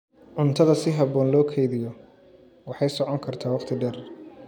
Cuntada si habboon loo kaydiyo waxay socon kartaa waqti dheer.